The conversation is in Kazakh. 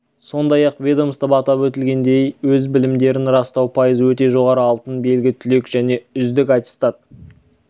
сондай-ақ ведомствода атап өтілгендей өз білімдерін растау пайызы өте жоғары алтын белгі түлек және үұздік аттестат